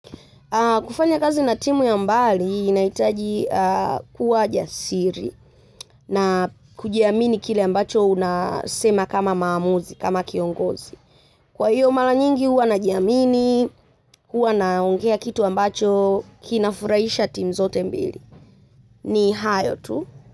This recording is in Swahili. Kufanya kazi na timu ya mbali inahitaji kuwa jasiri na kujiamini kile ambacho unasema kama maamuzi kama kiongozi. Kwa hiyo, mara nyingi huwa najiamini huwa naongea kitu ambacho kinafurahisha timu zote mbili. Ni hayo tu.